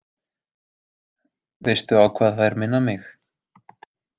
Veistu á hvað þær minna mig?